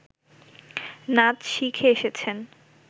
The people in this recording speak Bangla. নাচ শিখে এসেছেন